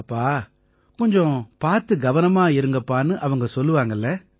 அப்பா கொஞ்சம் பார்த்து கவனமா இருங்கப்பான்னு அவங்க சொல்லுவாங்க இல்லை